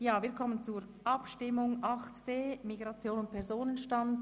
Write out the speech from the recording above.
Wir kommen zur Abstimmung über den Themenblock 8.d Migration und Personenstand.